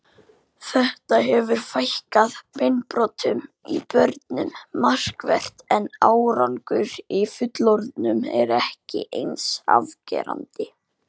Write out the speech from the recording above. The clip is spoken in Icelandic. Þetta hefur fækkað beinbrotum í börnum markvert en árangur í fullorðnum er ekki eins afgerandi.